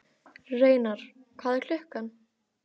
Reynar, hvað er klukkan?